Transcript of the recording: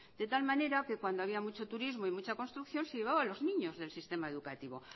de tal manera que cuando había mucho turismo y mucha construcción se llevaba a los niños del sistema educativo